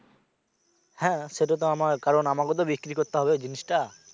হ্যা সেটাতো আমার কারণ আমাকেও বিক্রি করতে হবে জিনিস টা।